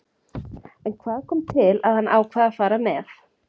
En hvað kom til að hann ákvað að fara með?